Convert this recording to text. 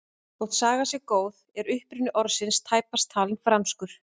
Þótt sagan sé góð er uppruni orðsins tæpast talinn franskur.